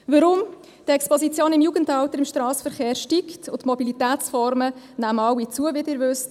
Weshalb? – Die Exposition im Strassenverkehr steigt im Jugendalter, und die Mobilitätsformen nehmen alle zu, wie Sie wissen.